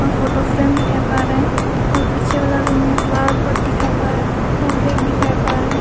और photo frame दिखाई पड़ रहा है और पीछे वाले रूम में फ्लावर पॉट दिखाई पड़ रहा और रैक दिखाई पड़ रहा है।